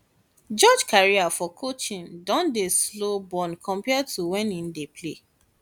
george career for coaching don dey slow burn compare to when e dey play